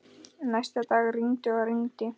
Næsta dag rigndi og rigndi.